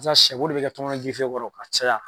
Sa sɛbo de be kɛ tɔŋɔnɔn kɔrɔ k'a caya.